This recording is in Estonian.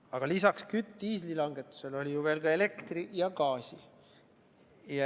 Aga lisaks diisliaktsiisi langetusele oli ju veel ka elektri- ja gaasiaktsiisi langetus.